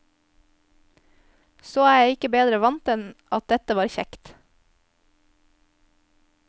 Så jeg er ikke bedre vant enn at dette var kjekt.